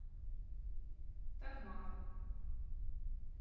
такмак